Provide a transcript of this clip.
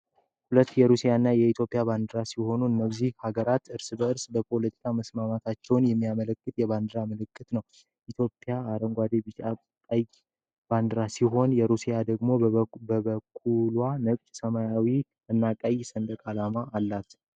ሁለት የሩስያና የኢትዮጵያ ባንዴራ ሲሆኑ እነዚህ ሀገራት ርእስ በርስ በፖለቲካ መተሳሰራቸውን የሚያመለክት የባንዲራ ምልክት ነው ። ኢትዮጵያ አረንጓዴ ቢጫ ባንዴራ ሲኖራት ሩሲያ ደሞ በበኩሉዋ ነጭ ሰማያዊ እና ቀይ ሰንደቅ ዓላማ አላት